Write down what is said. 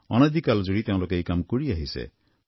অনাদিকাল জুৰি তেওঁলোকে এই কাম কৰি আহিছে